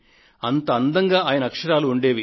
అంత అందంగా ఆయన దస్తూరి ఉండేది